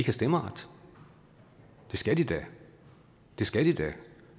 stemmeret det skal de da det skal de da